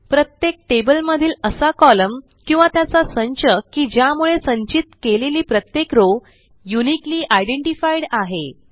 प्रत्येक टेबल मधील असा कोलम्न किंवा त्याचा संच की ज्यामुळे संचित केलेली प्रत्येक रॉव युनिकली आयडेंटिफाईड आहे